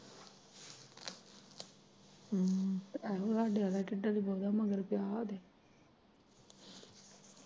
ਹਮ ਅਜੂ ਸਾਡੇ ਆਲਾ ਕਿਦਨ ਦਾ ਓਦੇ ਮਗਰ ਪਿਆ ਓਦੇ।